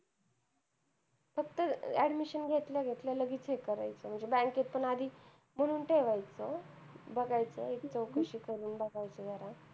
फक्त admission घेतल्या घेतल्या लगेच check करायचं. म्हणजे bank त पण आधीच बोलून ठेवायचं, बघायचं एक चौकशी करून बघायचं जरा.